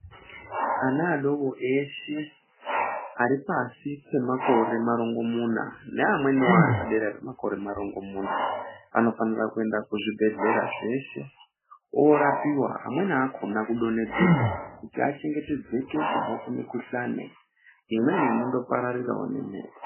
Ana adoko eshe aripashi pemakore marongo muna neamweni ari padera pemakore marongo muna anofanirwa kuenda kuzvibhedhlera zveshe orapiwa amweni akona kudonhedzerwa achengetedzeka kubva kumukuhlani imweni ino ndopararirawo nemhepo.